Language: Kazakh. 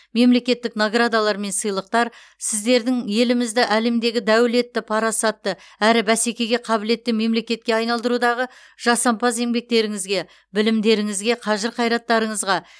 мемлекеттік наградалар мен сыйлықтар сіздердің елімізді әлемдегі дәулетті парасатты әрі бәсекеге қабілетті мемлекетке айналдырудағы жасампаз еңбектеріңізге білімдеріңізге қажыр қайраттарыңызға